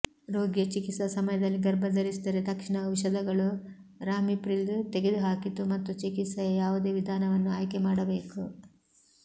ರೋಗಿಯ ಚಿಕಿತ್ಸಾ ಸಮಯದಲ್ಲಿ ಗರ್ಭ ಧರಿಸಿದರೆ ತಕ್ಷಣ ಔಷಧಗಳು ರಾಮಿಪ್ರಿಲ್ ತೆಗೆದುಹಾಕಿತು ಮತ್ತು ಚಿಕಿತ್ಸೆಯ ಯಾವುದೇ ವಿಧಾನವನ್ನು ಆಯ್ಕೆ ಮಾಡಬೇಕು